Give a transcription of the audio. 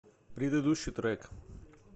предыдущий трек